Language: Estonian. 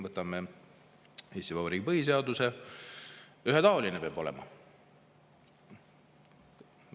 Võtame jällegi Eesti Vabariigi põhiseaduse: valimised peavad olema ühetaolised.